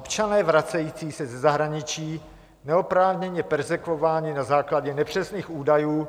Občané vracející se ze zahraničí neoprávněně perzekvováni na základě nepřesných údajů,